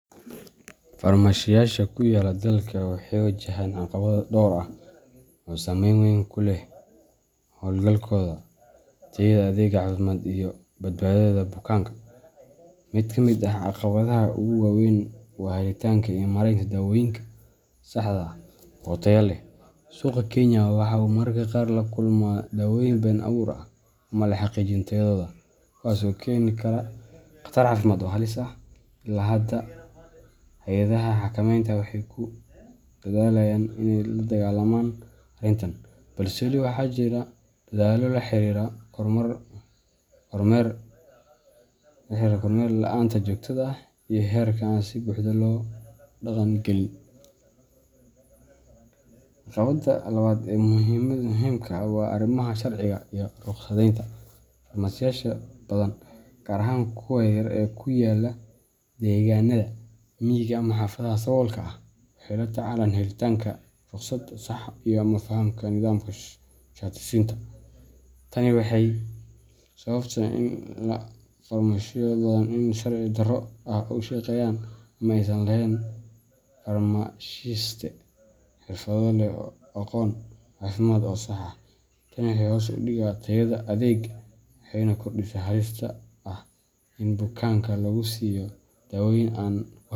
Farmashiyeyaasha ku yaalla Kenya waxay wajahaan caqabado dhowr ah oo saameyn weyn ku leh hawlgalkooda, tayada adeegga caafimaad, iyo badbaadada bukaanka. Mid ka mid ah caqabadaha ugu waaweyn waa helitaanka iyo maaraynta daawooyinka saxda ah oo tayo leh. Suuqa Kenya waxa uu mararka qaar la kulmaa daawooyin been abuur ah ama aan la xaqiijin tayadooda, kuwaas oo keeni kara khatar caafimaad oo halis ah. Ilaa iyo hadda, hay’adaha xakamaynta , waxay ku dadaalayaan inay la dagaallamaan arrintan, balse weli waxaa jira daldaloolo la xiriira kormeer la’aanta joogtada ah iyo xeerarka aan si buuxda loo dhaqan gelin. Caqabadda labaad ee muhiimka ah waa arrimaha sharciga iyo rukhsadaynta. Farmashiyeyaasha badan, gaar ahaan kuwa yaryar ee ku yaalla deegaanada miyiga ama xaafadaha saboolka ah, waxay la tacaalaan helitaanka rukhsad sax ah ama fahamka nidaamka shati siinta. Tani waxay sababtaa in farmashiyo badan ay si sharci darro ah u shaqeeyaan ama aysan lahayn farmashiiste xirfad leh oo leh aqoon caafimaad oo sax ah. Tani waxay hoos u dhigtaa tayada adeegga, waxayna kordhisaa halista ah in bukaanka lagu siiyo daawooyin aan.